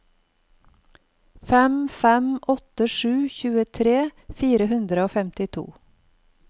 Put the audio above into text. fem fem åtte sju tjuetre fire hundre og femtito